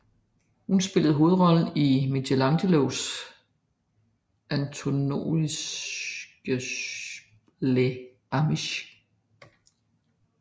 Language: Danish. Hun spillede hovedrollen i Michelangelo Antonionis Le amiche